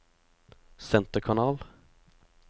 senterkanal